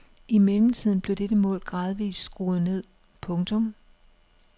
I mellemtiden blev dette mål gradvist skruet ned. punktum